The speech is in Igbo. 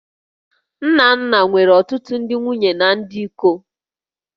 Nnanna nwere ọtụtụ ndị nwunye na ndị iko